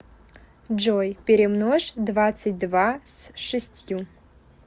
джой перемножь двадцать два с шестью